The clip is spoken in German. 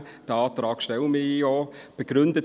Diesen Antrag stelle ich auch.